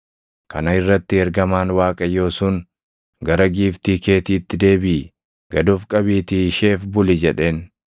Kana irratti ergamaan Waaqayyoo sun, “Gara giiftii keetiitti deebiʼi; gad of qabiitii isheef buli” jedheen.